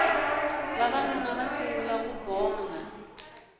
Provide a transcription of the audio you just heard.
vavanuna va sungula ku bonga